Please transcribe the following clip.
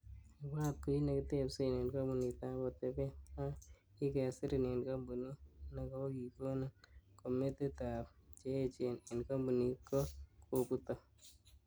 Ibwat ko i nekitebsen, en kompunitab atebet ak kikesirin en kompunit nekokikonin ko'metit ab che echen en kompunit ko kobutok.